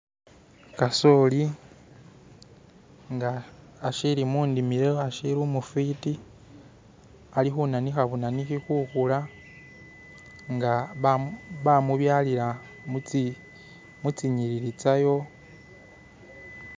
Kasoli nga ashili munimilo ashiili umufiti ali kunanika bunaniki kukula nga bamubyalila mu zinyilili zayo.